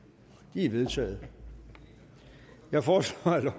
de er vedtaget jeg foreslår